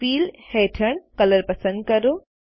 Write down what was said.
fill હેઠળ colour પસંદ કરો